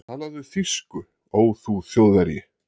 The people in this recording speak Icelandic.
Talaðu þýsku, ó þú Þjóðverji!